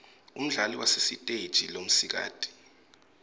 umdlali wasesiteje lomsikati